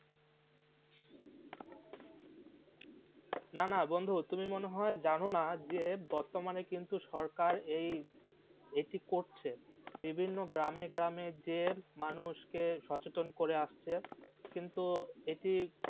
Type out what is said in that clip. না না বন্ধু তুমি হয়ে জানো না যে বর্তমানে কিন্তু সরকার এই এটি করছে বিভিন্ন গ্রামে গ্রামে যে মানুষকে সচেতন করে আসছে কিন্তু এটি